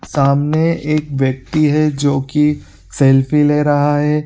सामने एक व्यक्ति है जो कि सेल्फी ले रहा है।